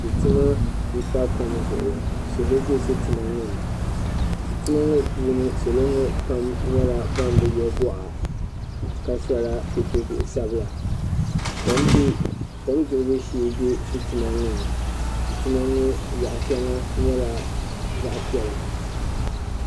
Sitima npa kom zuɣu salo bɛ sitima ŋɔ zuɣu sitima ŋɔ puuni salo ŋɔ pam nyɛla ban bi yɛ gɔɣa ka sɔ la petobihi sabla kom suɣbu shɛɛ bɛ sitima ŋɔ ni sitima ŋɔ yaɣ shɛŋa nyɛla zaɣ pɛla